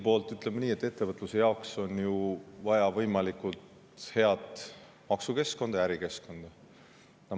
No ütleme nii, et ettevõtluse jaoks on ju riigis vaja võimalikult head maksukeskkonda ja ärikeskkonda.